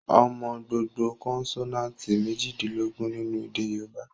Ó mọ gbogbo kọ́nsọ́náátì mèjìdínlógún nínu èdè yóòbá